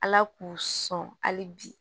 Ala k'u sɔn hali bi